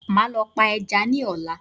Màá lọ pa ẹja ní ọ̀la